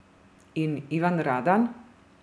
In Ivan Radan?